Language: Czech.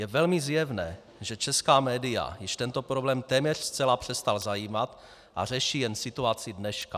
Je velmi zjevné, že česká média již tento problém téměř zcela přestal zajímat a řeší jen situaci dneška.